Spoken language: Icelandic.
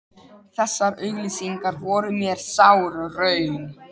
Þessar auglýsingar voru mér sár raun.